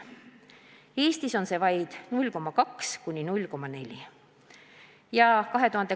Eestis on see näitaja vaid 0,2–0,4%.